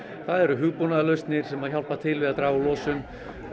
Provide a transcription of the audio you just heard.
það eru hugbúnaðarlausnir sem að hjálpa til við að draga úr losun